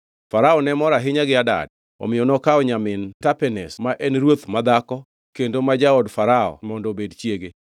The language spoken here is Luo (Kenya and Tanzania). Farao ne mor ahinya gi Hadad, omiyo nokawo nyamin Tapenes ma en ruoth madhako kendo ma jaod Farao mondo obed chiege.